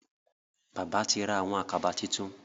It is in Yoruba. Bàbá tí ra Àkàbà títún.